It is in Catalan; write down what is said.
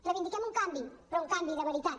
reivindiquem un canvi però un canvi de veritat